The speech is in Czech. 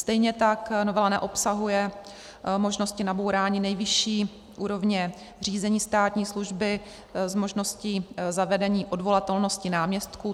Stejně tak novela neobsahuje možnosti nabourání nejvyšší úrovně řízení státní služby s možností zavedení odvolatelnosti náměstků.